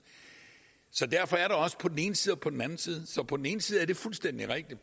så derfor er der også på den ene side og på den anden side så på den ene side er det fuldstændig rigtigt